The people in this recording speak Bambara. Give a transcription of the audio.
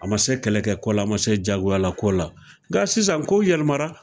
A ma se kɛlɛkɛ ko la, a ma se jagoyala ko la nka sisan kow yɛlɛmara.